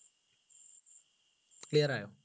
clear ആയോ